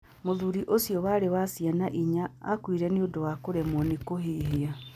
Mũthuri ũcio warĩ ithe wa ciana inya, aakuire nĩ ũndũ wa kũremwo nĩ kũhihia.